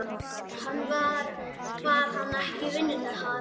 Var hann ekki í vinnu þar?